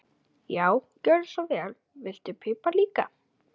Já, gjörðu svo vel. Viltu pipar líka?